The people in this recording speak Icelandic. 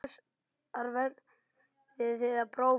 Þessar verðið þið að prófa.